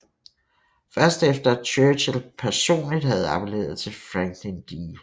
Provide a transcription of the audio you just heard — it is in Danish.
Først efter at Churchill personligt havde appelleret til Franklin D